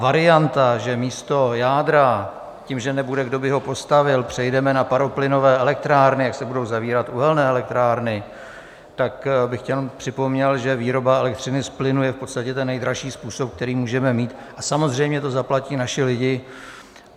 Varianta, že místo jádra, tím, že nebude, kdo by ho postavil, přejdeme na paroplynové elektrárny, jak se budou zavírat uhelné elektrárny, tak bych jenom připomněl, že výroba elektřiny z plynu je v podstatě ten nejdražší způsob, který můžeme mít, a samozřejmě to zaplatí naši lidé.